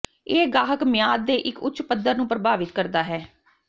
ਇਹ ਗਾਹਕ ਮਿਆਦ ਦੇ ਇੱਕ ਉੱਚ ਪੱਧਰ ਨੂੰ ਪ੍ਰਭਾਵਿਤ ਕਰਦਾ ਹੈ